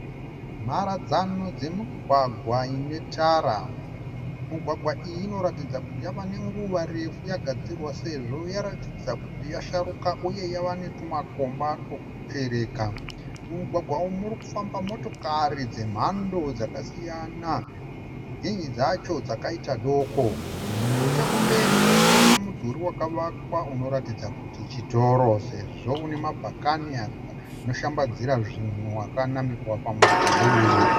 Mharadzano dzemigwagwa inetara. Mugwagwa iyi inoratidza kuti yava nenguva refu yagadzirwa sezvo yaratidza kuti yasharuka uye yava netumakomba turikuchereka. Mumugwagwa umu murikufamba motokari dzemhando dzakasiyana, zhinji dzacho dzakaita doko. Nechekumberi tirikuona mudhuri wakavakwa unoratidza kuti chitoro sezvo une mabhakani anoshambidzira zvinhu akanamirwa pamudhuri uyu.